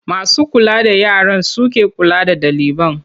Masu kula da yaran su ke kula da ɗaliban.